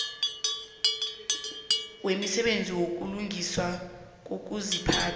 wemisebenzi yokulungiswa kokuziphatha